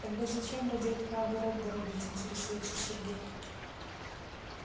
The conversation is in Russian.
тогда зачем ради этого огород городить интересуется сергей